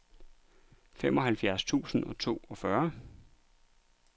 femoghalvfjerds tusind og toogfyrre